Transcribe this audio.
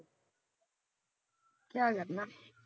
ਕਯਾ ਲੱਗਣਾ।